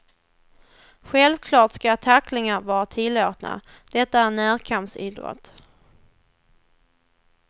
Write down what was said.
Självklart ska tacklingar vara tillåtna, detta är en närkampsidrott.